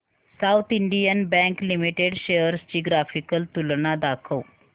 south Indian bank limited shares ची graphical तुलना दाखव